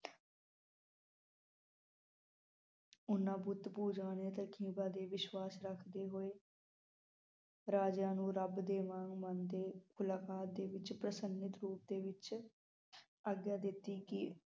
ਓਹਨਾ ਬੁੱਤ ਪੂਜਾ ਨੇ ਦੇ ਵਿਸ਼ਵਾਸ ਰੱਖਦੇ ਹੋਏ ਰਾਜਿਆਂ ਨੂੰ ਰਬ ਦੇ ਵਾਂਗ ਮੰਨਦੇ ਮੁਲਾਕਾਤ ਦੇ ਵਿਚ ਪ੍ਰਸੰਗਿਤ ਰੂਪ ਦੇ ਵਿਚ ਆਗਿਆ ਦਿਤੀ ਕੀ